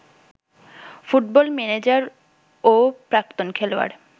football manager ও প্রাক্তন খেলোয়াড়